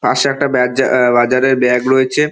পাশে একটা বাজা বাজারের ব্যাগ রয়েছে।